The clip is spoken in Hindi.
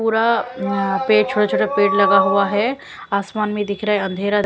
पूरा पेड़ छोटा छोटा पेड़ लगा हुआ हैं आसमान में दिख रहा हैं अंधेरा--